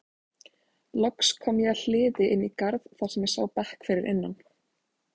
Loks kom ég að hliði inn í garð þar sem ég sá bekk fyrir innan.